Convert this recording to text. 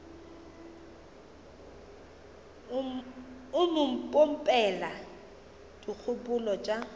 o mo pompela dikgopolo tša